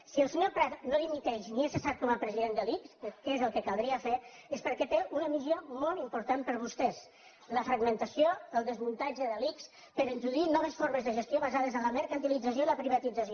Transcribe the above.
si el senyor prat no dimiteix ni és cessat com a president de l’ics que és el que caldria fer és perquè té una missió molt important per a vostès la fragmentació el desmuntatge de l’ics per introduir noves formes de gestió basades en la mercantilització i la privatització